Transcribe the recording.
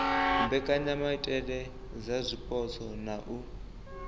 mbekanyamaitele dza zwipotso na u